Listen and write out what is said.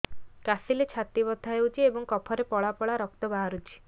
କାଶିଲେ ଛାତି ବଥା ହେଉଛି ଏବଂ କଫରେ ପଳା ପଳା ରକ୍ତ ବାହାରୁଚି